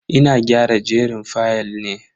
Ina gyara jerin fayal ne.